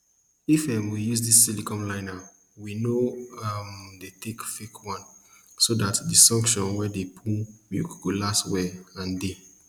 if um we use dis silicone liner we no um dey take fake one so dat di suction wey dey pull milk go last well and dey